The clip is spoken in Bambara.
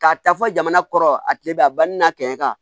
K'a ta fɔ jamana kɔrɔ a kile bɛ a banni na kɛmɛ kan